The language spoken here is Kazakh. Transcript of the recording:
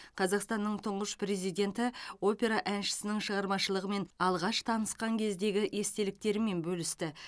қазақстанның тұңғыш президенті опера әншісінің шығармашылығымен алғаш танысқан кездегі естеліктерімен бөлісті